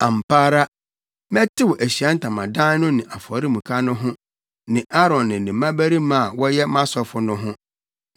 “Ampa ara, mɛtew Ahyiae Ntamadan no ne afɔremuka no ho ne Aaron ne ne mmabarima a wɔyɛ mʼasɔfo no ho.